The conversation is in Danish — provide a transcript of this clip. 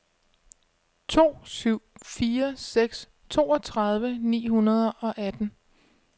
to syv fire seks toogtredive ni hundrede og atten